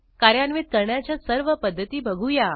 कार्यान्वित करण्याच्या सर्व पध्दती बघूया